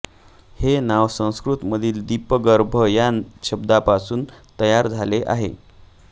हे नाव संस्कृतमधील दीपगर्भ या शब्दापासून तयार झाले आहे